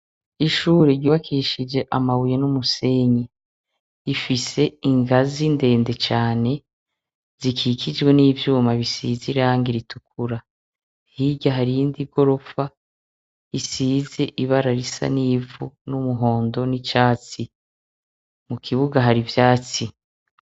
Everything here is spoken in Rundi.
Ishuri ryukabishije amabuye n'umusenyi. Rifise ingazi ndende cane, zikikijwe n'ivyuma bisize irangi ritukura. Hirya hari iyindi gorofa isize ibara risa n'ivu, n'umuhondo, n'icatsi. Mu kibuga hari ivyatsi.